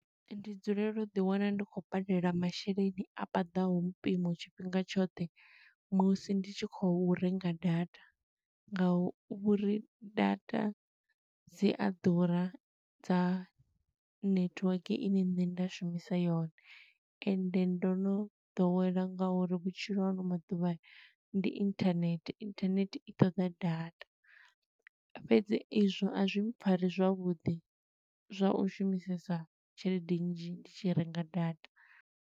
Ndi dzulela u ḓi wana ndi khou badela masheleni a paḓaho mpimo tshifhinga tshoṱhe, musi ndi tshi khou renga data nga uri, data dzi a ḓura, dza netiweke ine nṋe nda shumisa yone. Ende ndo no ḓowela nga uri vhutshilo ha ano maḓuvha, ndi internet, internet i ṱoḓa data, fhedzi i zwo a zwi pfari zwavhuḓi zwa u shumisesa tshelede nnzhi ndi tshi renga data.